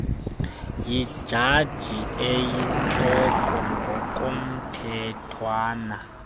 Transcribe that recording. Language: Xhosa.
yijaji eyintloko ngokomthethwana